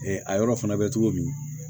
a yɔrɔ fana bɛ cogo min